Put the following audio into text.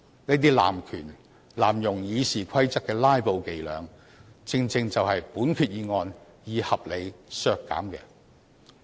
這些濫權、濫用《議事規則》的"拉布"伎倆，正正就是本決議案希望可以合理地消除。